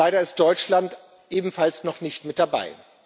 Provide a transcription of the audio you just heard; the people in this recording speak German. Leider ist Deutschland ebenfalls noch nicht mit dabei.